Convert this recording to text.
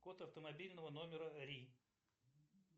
код автомобильного номера ри